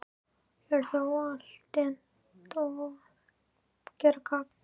Ég er þó altént að gera gagn.